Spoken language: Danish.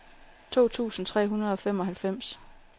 to tusind tre hundrede og femoghalvfems